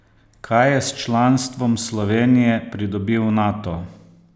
Kaj je s članstvom Slovenije pridobil Nato?